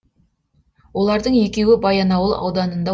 олардың екеуі баянауыл ауданында